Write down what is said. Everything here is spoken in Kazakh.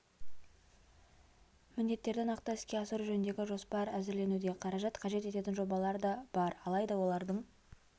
міндеттерді нақты іске асыру жөніндегі жоспар әзірленуде қаражат қажет ететін жобалар да бар алайда олардың